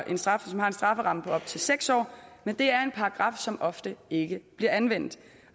en strafferamme på op til seks år men det er en paragraf som ofte ikke bliver anvendt